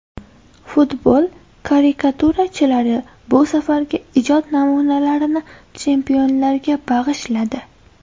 Futbol karikaturachilari bu safargi ijod namunalarini chempionlarga bag‘ishladi.